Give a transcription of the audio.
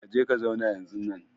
Ka je ka zauna yanzunnan!